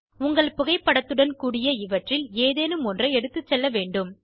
உங்கள் புகைப்படத்துடன் கூடிய இவற்றில் ஏதேனும் ஒன்றை எடுத்துச் செல்லவேண்டும்